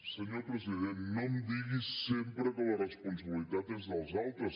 senyor president no em digui sempre que la responsabilitat és dels altres